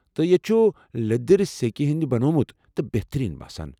تہٕ یتہِ چُھ لیٔدر سیكہِ ہنٛدۍ بنیومُت تہٕ بہترین باسان ۔